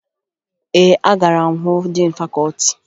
Ee, agara m hụ diin fakọọti